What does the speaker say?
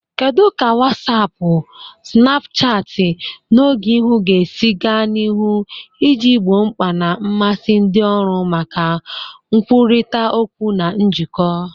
Kedu ka Wasiapu, Sinapuchati, na Ogeihu ga-esi gaa n'ihu iji gboo mkpa na mmasị ndị ọrụ maka nkwurịta okwu na njikọ?